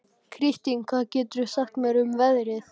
Kristin, hvað geturðu sagt mér um veðrið?